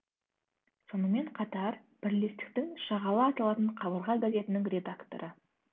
сонымен қатар бірлестіктің шағала аталатын қабырға газетінің редакторы